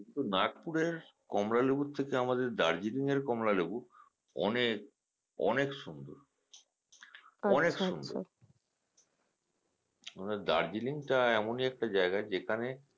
কিন্তু Nagpur এর কমলা লেবুর থেকে আমাদের Darjeeling এর কমলা লেবু অনেক অনেক সুন্দর আমাদের Darjeeling টা এমন একটা জায়গা যেখানে